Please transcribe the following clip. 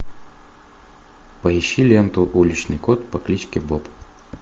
поищи ленту уличный кот по кличке боб